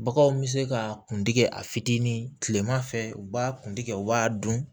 Baganw bɛ se ka kundigi kɛ a fitinin kilema fɛ u b'a kundigi kɛ u b'a dun